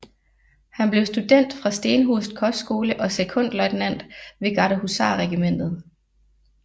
Han blev student fra Stenhus Kostskole og sekondløjtnant ved Gardehusarregimentet